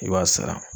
I b'a sara